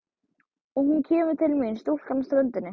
Og hún kemur til mín stúlkan á ströndinni.